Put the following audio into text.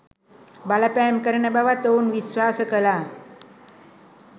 බලපෑම් කරන බවත් ඔවුන් විශ්වාස කළා.